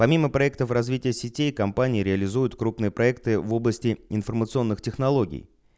помимо проектов развития сетей компании реализуют крупные проекты в области информационных технологий